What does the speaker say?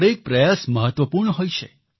દરેક પ્રયાસ મહત્વપૂર્ણ હોય છે